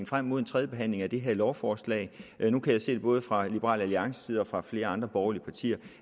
frem mod en tredjebehandling af det her lovforslag nu kan jeg se både fra liberal alliances side og fra flere andre borgerlige partiers